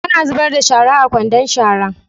Ana zubar da shara a kwandon shara.